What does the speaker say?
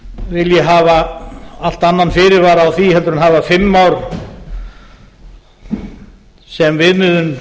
vilji hafa allt annan fyrirvara á því heldur en hafa fimm ár sem viðmiðun